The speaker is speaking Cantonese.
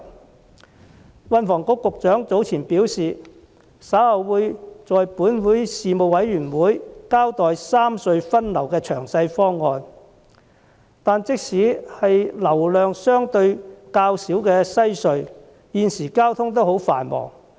運輸及房屋局局長早前表示，稍後會在立法會交通事務委員會交代三隧分流的詳細方案，但即使是流量相對較少的西區海底隧道，現時交通也很繁忙。